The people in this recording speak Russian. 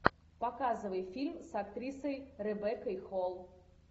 показывай фильм с актрисой ребеккой холл